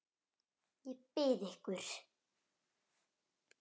Ég bið ykkur!